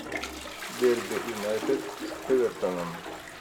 дерби юнайтед с эвертоном